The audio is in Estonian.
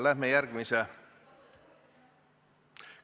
Läheme järgmise ...